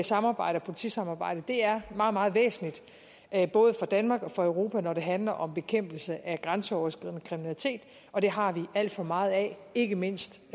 samarbejde og politisamarbejdet er meget meget væsentligt både for danmark og europa når det handler om bekæmpelse af grænseoverskridende kriminalitet og det har vi alt for meget af ikke mindst